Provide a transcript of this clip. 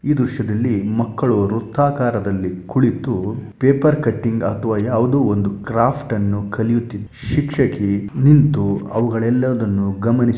ಈ ದೃಶ್ಯದಲ್ಲಿ ಮಕ್ಕಳು ವೃತ್ತಾಕಾರದಲ್ಲಿ ಕುಳಿತು ಪೇಪರ್‌ ಕಟ್ಟಿಂಗ್ ಅಥವಾ ಯಾವುದೋ ಒಂದು ಕ್ರಾಫ್ಟ್‌ನ್ನು ಕಲಿಯುತ್ತಿದ್ದಾರೆ ಶಿಕ್ಷಕಿ ನಿಂತು ಅವುಗಳೆಲ್ಲವನ್ನು ಗಮನಿಸು --